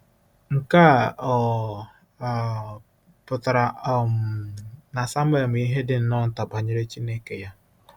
Nke a ọ̀ um pụtara um na Samuel ma ihe dị nnọọ nta banyere Chineke ya?